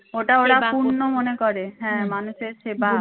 ওটা ওরা পূন্য মনে করে হ্যাঁ মানুষের সেবা